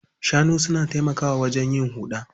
Shanu na taimakawa wajen yin haro.